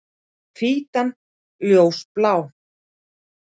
Og hvítan ljósblá.